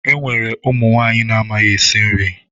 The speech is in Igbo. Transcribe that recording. Enwere ụmụ nwanyị amaghị esi nri.